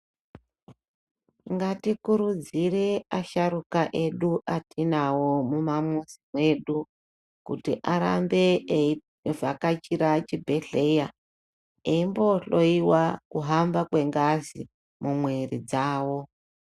Ngatikurudzire asharukwa edu atinawo mumamuzi edu kuti arambe eivhakachira chibhedhlera eimbohloiwa kuhamba kwengazi mumwiri dzawo.